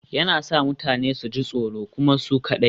Yana sa mutane su ji tsoro kuma su kaɗai